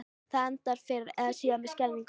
Það endar fyrr eða síðar með skelfingu.